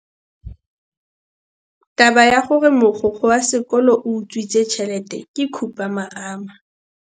Taba ya gore mogokgo wa sekolo o utswitse tšhelete ke khupamarama.